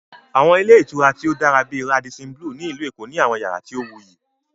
Àwọn ilé ìtura tí ó dára bíi "Radisson Blu" ní Ìlú Èkó ní àwọn yàrá tí ó wuyì